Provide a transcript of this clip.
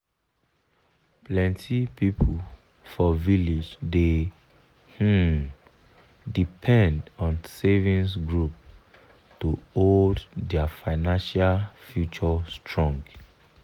plenty people for village dey um depend on savings group to hold their financial future strong.